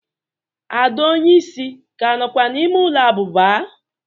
ada onye isi ka nokwa n'ime ulo abuba?